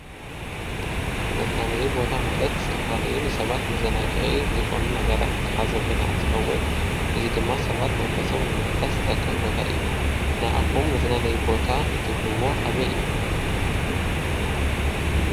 መዝናነይ ቦታ ማለት ዝተፈላለዩ ንሰባት መዘናግዒ ዝኾኑ ነገራት ዝሓዘ ቦታ እንትኸውን እዚ ድማ ሰባት መንፈሶም ንምሕዳስ ዝጠቅም ቦታ እዩ። ንኣኹም መዝናነዪ ቦታ እትብልዎ ኣበይ እዩ?